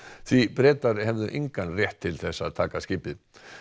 því Bretar hefðu engan rétt til þess að taka skipið